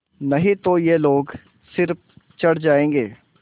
नहीं तो ये लोग सिर चढ़ जाऐंगे